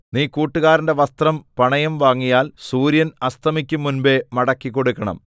നീ കൂട്ടുകാരന്റെ വസ്ത്രം പണയം വാങ്ങിയാൽ സൂര്യൻ അസ്തമിക്കുംമുമ്പെ മടക്കിക്കൊടുക്കണം